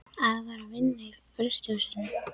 Afi var að vinna í frystihús- inu.